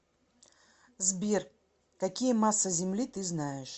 сбер какие масса земли ты знаешь